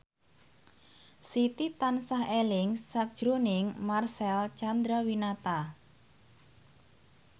Siti tansah eling sakjroning Marcel Chandrawinata